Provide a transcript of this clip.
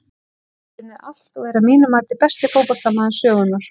Hann hefur unnið allt og er að mínu mati besti fótboltamaður sögunnar.